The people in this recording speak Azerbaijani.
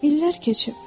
İllər keçib.